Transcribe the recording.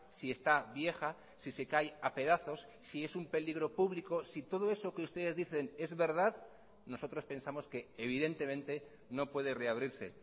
si está vieja si se cae a pedazos si es un peligro público si todo eso que ustedes dicen es verdad nosotros pensamos que evidentemente no puede reabrirse